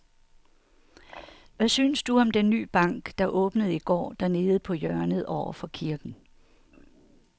Hvad synes du om den nye bank, der åbnede i går dernede på hjørnet over for kirken?